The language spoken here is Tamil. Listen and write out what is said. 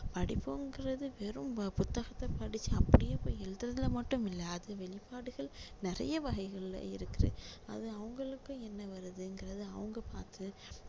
படிப்புங்குறது வெறும் புத்தகத்தை படிச்சு அப்படியே போய் எழுதுறதுல மட்டும் இல்லை அது வெளிப்பாடுகள் நிறைய வகைகளில இருக்குது அது அவங்களுக்கு என்ன வருதுங்குறதை அவங்க பாத்து